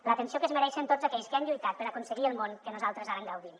l’atenció que es mereixen tots aquells que han lluitat per aconseguir el món que nosaltres ara gaudim